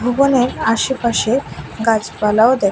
এবং এর আশেপাশে গাছপালাও দেখা--